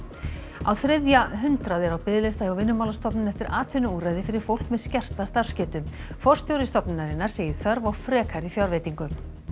á þriðja hundrað eru á biðlista hjá Vinnumálastofnun eftir atvinnuúrræði fyrir fólk með skerta starfsgetu forstjóri stofnunarinnar segir þörf á frekari fjárveitingu